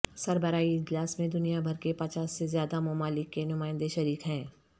سربراہی اجلاس میں دنیا بھر کے پچاس سے زیادہ ممالک کے نمائندے شریک ہیں